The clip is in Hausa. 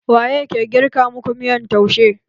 Waye ke girka maku miyan taushe?